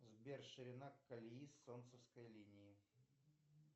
сбер ширина колеи солнцевской линии